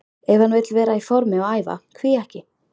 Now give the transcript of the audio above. Ef hann vill vera í formi og æfa, hví ekki?